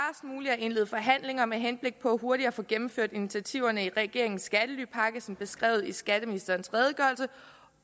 at indlede forhandlinger med henblik på hurtigt at få gennemført initiativerne i regeringens skattelypakke som beskrevet i skatteministerens redegørelse